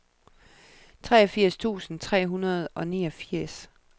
treogfirs tusind tre hundrede og niogfirs